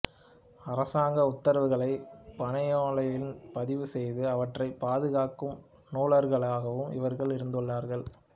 அரசாங்க உத்தரவுகளைப் பனையோலையில் பதிவுசெய்து அவற்றைப் பாதுகாக்கும் நூலகர்களாகவும் இவர்கள் இருந்துள்ளார்கள்